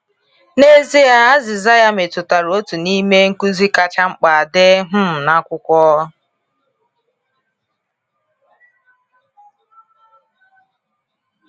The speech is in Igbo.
N’ezie, azịza ya metụtara otu n’ime nkuzi kacha mkpa dị um na Akwụkwọ.